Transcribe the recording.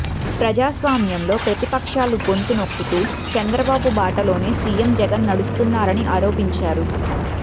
ప్రజాస్వామ్యంలో ప్రతిపక్షాల గొంతునొక్కుతూ చంద్రబాబు బాటలోనే సీఎం జగన్ నడుస్తున్నారని ఆరోపించారు